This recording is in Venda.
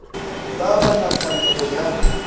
vha vha na pfanelo ya